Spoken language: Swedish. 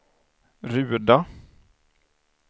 Ruda